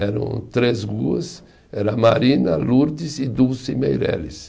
Eram três ruas, era Marina, Lourdes e Dulce Meireles.